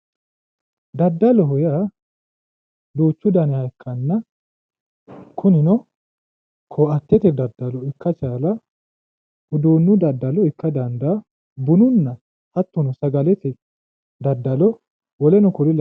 Daddaloho yaa duuchu daniha ikkanna kunino koattete daddalo ikka chaalaa uduunne daddalo ikka dandaa bununna hattono sagalete daddalo woleno kuri lawanno.